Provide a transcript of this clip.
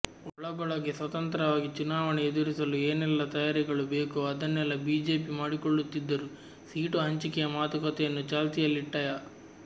ಒಳಗೊಳಗೇ ಸ್ವತಂತ್ರವಾಗಿ ಚುನಾವಣೆ ಎದುರಿಸಲು ಏನೆಲ್ಲ ತಯಾರಿಗಳು ಬೇಕೊ ಅದನ್ನೆಲ್ಲ ಬಿಜೆಪಿ ಮಾಡಿಕೊಳ್ಳುತ್ತಿದ್ದರೂ ಸೀಟು ಹಂಚಿಕೆಯ ಮಾತುಕತೆಯನ್ನು ಚಾಲ್ತಿಯಲ್ಲಿಟ್ಟಯ